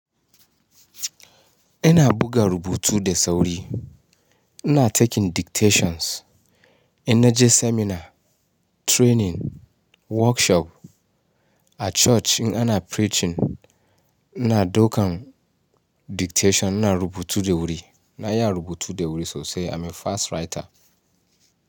Ina buga rubutu da sauri. Ina taking dictations, ina je seminar, training, workshop. A church in ana preaching, ina daukan dictation, ina rubutu da wuri. Na iya rubutu da wuri sosai. I'm a fast writer.